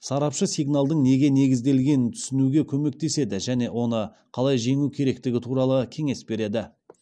сарапшы сигналдың неге негізделгенін түсінуге көмектеседі және оны қалай жеңу керектігі туралы кеңес береді